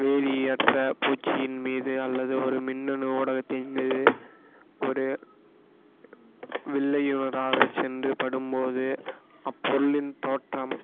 வேதியற்ற பூச்சியின் மீது அல்லது ஒரு மின்னணு ஊடகத்தின் மீது ஒரு சென்று படும் போது அப்பொருளின் தோற்றம்